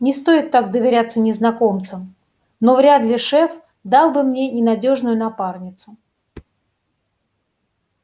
не стоит так доверяться незнакомцам но вряд ли шеф дал бы мне ненадёжную напарницу